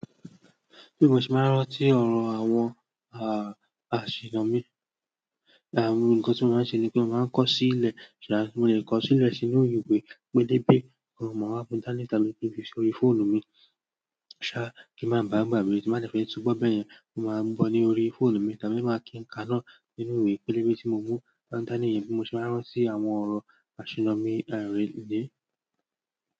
Bí mo ṣe máa ń rántí ọ̀rọ̀ àwọn a-aṣiyanmi, àwọn nǹkan tí mo máa ń ṣe ni pé mo máa ń kọ sílẹ̀, ṣà mo lè kọ sílẹ̀ sínú ìwé pélébé oun máa wa mú dani tàbí kí n fi sí orí fóònù mi ṣá kí a máa ba à gbàgbé tí mo bá dẹfẹ́ túngbọ̀ bẹ́yen ni mo máa mú gbọ̀ ní orí fóònù mi tàbí má kí n ka náà nínú ìwé pélébé tí mo mú dani yẹn bí mo ṣe máa ń rántí àwọn ọ̀rọ̀ aṣiyanmi a ni.